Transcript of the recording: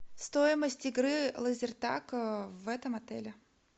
стоимость игры лазертаг в этом отеле